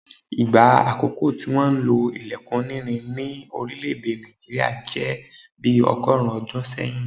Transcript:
Ìgbà àkókò tí wọ́n lo ilẹkun onírin ní orílẹ̀ èdè Nàìjíríà jẹ́ bi ọgọ́rùn-ún ọdún sẹ́yìn